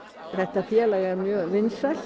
þetta félag er mjög vinsælt